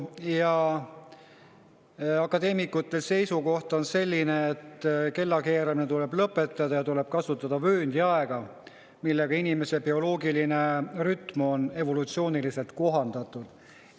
Ka akadeemikute seisukoht on selline, et kellakeeramine tuleb lõpetada ja tuleb kasutada vööndiaega, millega inimese bioloogiline rütm on evolutsiooniliselt kohandunud.